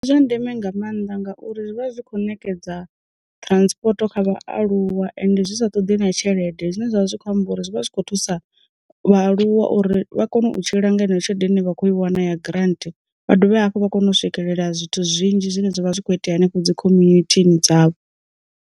Ndi zwa ndeme nga mannḓa ngauri zwi vha zwi kho ṋekedza transporto kha vhaaluwa ende zwi sa ṱoḓi na tshelede, zwine zwavha zwi kho amba uri zwi vha zwi khou thusa vhaaluwa uri vha kone u tshila nga heneyo tshelede ine vha khou i wana ya grant, vha dovhe hafhu vha kone u swikelela zwithu zwinzhi zwine zwavha zwi kho itea henefho dzi khomunithini dzavho.